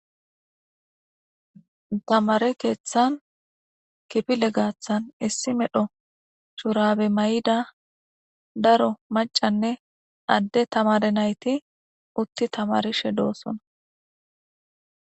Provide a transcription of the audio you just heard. tamare keeththan kipile gaathan issi medho shurabe may7ida daro macanne adde tamare nayti utti tamarishe doossona